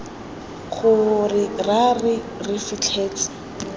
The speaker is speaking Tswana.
gore ra re re fitlhetse